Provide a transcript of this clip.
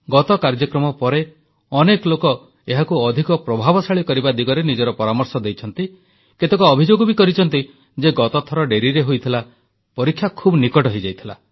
ଗତ କାର୍ଯ୍ୟକ୍ରମ ପରେ ଅନେକ ଲୋକ ଏହାକୁ ଅଧିକ ପ୍ରଭାବଶାଳୀ କରିବା ଦିଗରେ ନିଜର ପରାମର୍ଶ ଦେଇଛନ୍ତି କେତେକ ଅଭିଯୋଗ ବି କରିଛନ୍ତି ଯେ ଗତଥର ଡେରିରେ ହୋଇଥିଲା ପରୀକ୍ଷା ଖୁବ୍ ନିକଟ ହୋଇଯାଇଥିଲା